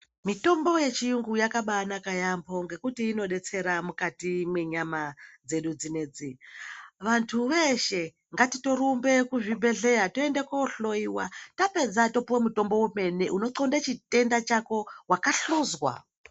Mitombo yechiyungu yakabanaka yaamho ngekuti inodetsera mukati mwenyama dzedu dzinedzi. Vantu veshe ngatitorumbe kuzvibhedhlera tohloyiwa, tapedza topiwa mutombo wemene unotxonde chitenda chako, wakahluzwa.